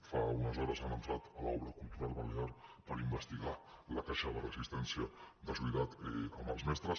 fa unes hores han entrat a l’obra cultural balear per investigar la caixa de resistència de solidaritat amb els mestres